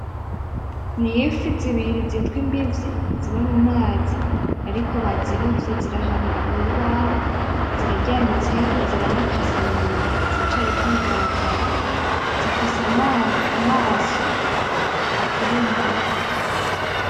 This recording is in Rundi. Ni ifi zibiri zitwa Imbivyi ziba mu mazi. Mu mazi ariko bazirovye ziri ahantu ku rubaho ziraryamitseho, ziranakase mu nda . Ziracariko ibigaragara. Zifise amaso aturumbuye.